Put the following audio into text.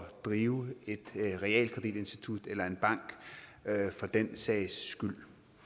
drive et realkreditinstitut eller en bank for den sags skyld